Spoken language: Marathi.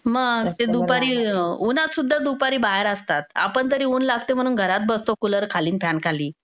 मग ते दुपारी उन्हात सुद्धा दुपारी बाहेर असतात. आपण तरी ऊन लागतं म्हणून घरात बसतो कुलर खाली अन फॅन खाली.